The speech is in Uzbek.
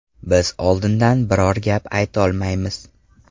Biz oldindan biror gap aytolmaymiz.